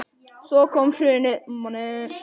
Svo kom hrunið.